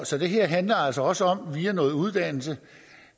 så det her handler altså også om via noget uddannelse